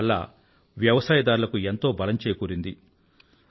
దానివల్ల వ్యవసాయదారులకు ఎంతో బలం చేకూరింది